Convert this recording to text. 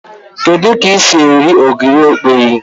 Kedu k'esi eri ogiri okpei